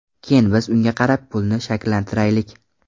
Keyin biz unga qarab pulni shakllantiraylik.